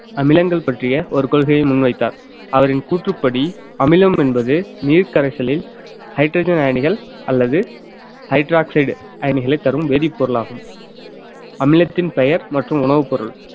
அமிலங்கள் பற்றிய ஒரு கொள்கையை முன்வைத்தார் அவரின் கூற்றுப்படி அமிலம் என்பது நீர்க்கரைசலில் hydrogen அயனிகள் அல்லது hydroxide அயனிகளை தரும் வேதிப்பொருள் ஆகும் அமிலத்தின் பெயர் மற்றும் உணவு பொருள்